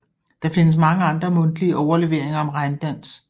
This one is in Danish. Der findes mange andre mundtlige overleveringer om regndans